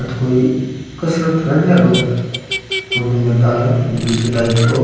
या तो कोई कसरत कर रेया लोग खुले मैदान है बगीचा टाइप को --